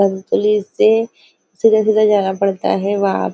ध्न्तुली से सिधा सिधा जाना पड़ता है वा --